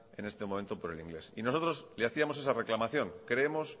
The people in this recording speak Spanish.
en este momento por el inglés y nosotros le hacíamos esa reclamación creemos